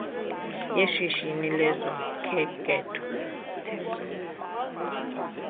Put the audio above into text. yeshishini lezokhenketho tep